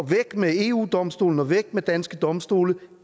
væk med eu domstolen og væk med danske domstole